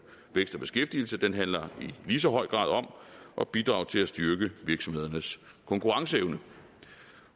vækst og beskæftigelse den handler i lige så høj grad om at bidrage til at styrke virksomhedernes konkurrenceevne